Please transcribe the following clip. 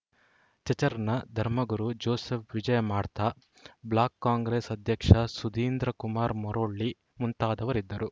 ಚಚ್‌ರ್‍ನ ಧರ್ಮಗುರು Joseph Vijay Madtha block Congress ಅಧ್ಯಕ್ಷ ಸುಧೀಂದ್ರ ಕುಮಾರ್‌ ಮುರೊಳ್ಳಿ ಮುಂತಾದವರಿದ್ದರು